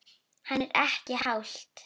Hann: Er ekki hált?